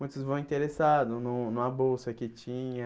Muitos vão interessados, num numa bolsa que tinha...